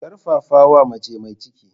Karfafawa mace mai ciki.